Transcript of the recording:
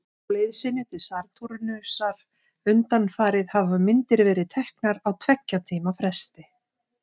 Á leið sinni til Satúrnusar undanfarið hafa myndir verið teknar á tveggja tíma fresti.